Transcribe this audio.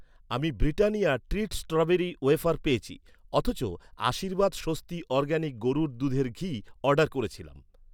আমি Britannia treat strawberry wafer পেয়েছি। অথচ, আশীর্বাদ স্বস্তি অরগ্যানিক গরুর দুধের ঘি অর্ডার করেছিলাম